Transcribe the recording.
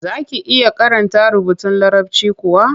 Za ki iya karanta rubutun Larabci kuwa?